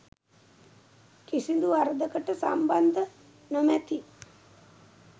කිසිදු වරදකට සම්බන්ධ නොමැති